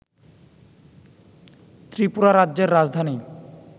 ত্রিপুরা রাজ্যের রাজধানী